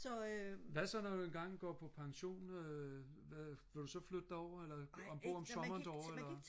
hvad så når du engang går på pension øh vil du så flytte derover eller og bo om sommeren derovre eller